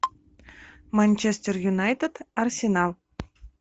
манчестер юнайтед арсенал